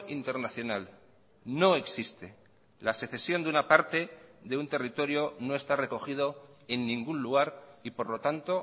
internacional no existe la secesión de una parte de un territorio no está recogido en ningún lugar y por lo tanto